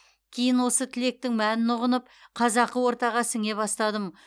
кейін осы тілектің мәнін ұғынып қазақы ортаға сіңе бастадым